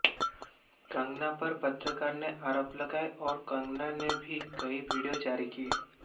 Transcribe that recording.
कंगना पर पत्रकार ने आरोप लगाए और कंगना ने भी कई वीडियो जारी किए